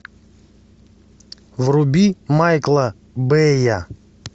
вруби майкла бэя